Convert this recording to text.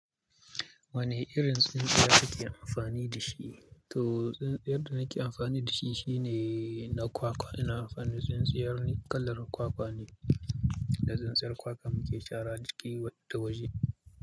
Wane irin tsintsiyar kake amfani da shi? To, tsintsiyar da nake amfani da shi shine na kwakwa. Ina amfani da tsintsiyar kalar kwakwa ne, da tsintsiyar kwakwa muke shara ciki da waje.